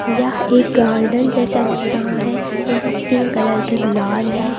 यह एक गार्डन जैसा लग रहा है यहां पिंक कलर के गुलाब है।